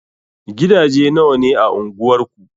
Gidaje nawa ne a anguwar ku?